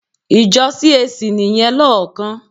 Ìjọ CAC nìyẹn lóòókán.